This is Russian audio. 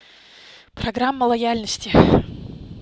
программа лояльности